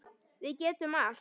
Við getum allt.